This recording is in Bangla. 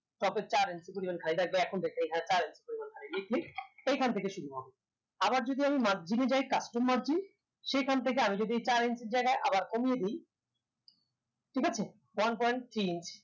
top এ চার inches পরিমান খালি থাকবে এখন দেখেন এখানে চার inches রয়েছে এইখান থেকে শুরু হবে আবার যদি আমি margin এ যাই custom margin সেখান থেকে আমি যদি চার inches র জায়গায় আবার কমিয়ে দেই ঠিক আছে one point three inches